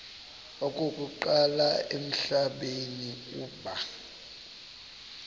okokuqala emhlabeni uba